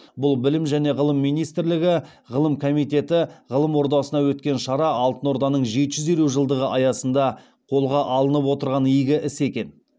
бұл білім және ғылым министрлігі ғылым комитеті ғылым ордасына өткен шара алтын орданың жеті жүз елу жылдығы аясында қолға алынып отырған игі іс екен